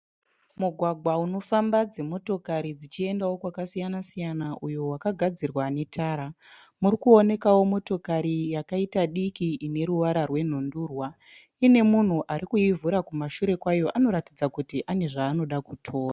Mugwagwa unofamba dzi motokari dzichiendao kwakasiyana siyana uyo wakagadzirwa netara. Murikuonekao motokari yakaita diki ine ruwara rwe nhundurwa. Ine munhu arikuivhura kumashure kwayo anoratidza kuti ane zvaanoda kutora.